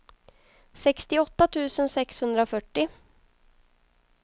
sextioåtta tusen sexhundrafyrtio